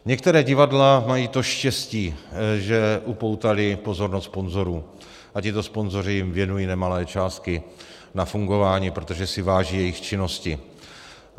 Některá divadla mají to štěstí, že upoutala pozornost sponzorů a tito sponzoři jim věnují nemalé částky na fungování, protože si váží jejich činnosti.